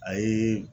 A ye